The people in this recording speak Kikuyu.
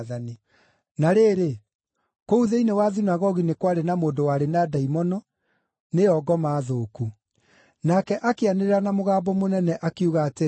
Na rĩrĩ, kũu thĩinĩ wa thunagogi nĩ kwarĩ na mũndũ warĩ na ndaimono, nĩyo ngoma thũku. Nake akĩanĩrĩra na mũgambo mũnene, akiuga atĩrĩ,